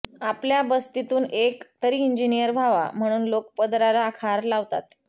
आपल्या बस्तीतून एक तरी इंजिनियर व्हावा म्हणून लोक पदराला खार लावतात